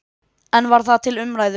En var það til umræðu?